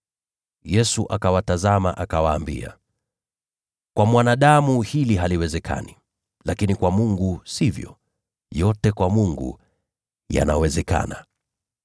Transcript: Yesu akawatazama, akawaambia, “Kwa mwanadamu jambo hili haliwezekani, lakini kwa Mungu sivyo. Mambo yote yanawezekana kwa Mungu.”